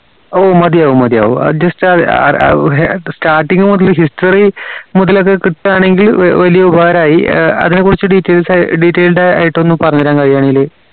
ഓ മതിയാവും മതിയാവും ആ just starting മുതൽ history മുതലൊക്കെ കിട്ടാണെങ്കിൽ വെ വലിയൊരു ഉപകാരായി ഏർ അതിനെ കുറിച്ച് details ആയ് detailed ആയിട്ടൊന്ന് പറഞ്ഞരാൻ കഴിയുവെങ്കിൽ